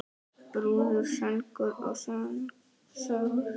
Brúður, söngur og sögur.